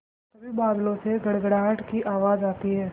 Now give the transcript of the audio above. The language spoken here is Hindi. तभी बादलों से गड़गड़ाहट की आवाज़ आती है